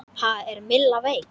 Ha, er Milla veik?